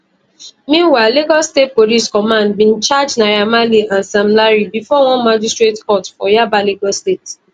meanwhile lagos state police command bin charge naira marley and sam larry bifor one magistrate court for yaba lagos state